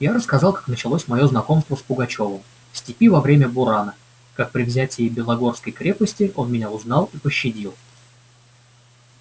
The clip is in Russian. я рассказал как началось моё знакомство с пугачёвым в степи во время бурана как при взятии белогорской крепости он меня узнал и пощадил